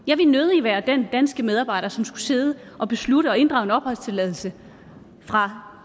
jeg vil nødig være den danske medarbejder som skulle sidde og beslutte at inddrage en opholdstilladelse fra